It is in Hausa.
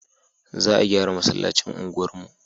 Za a gyara masallacin unguwar mu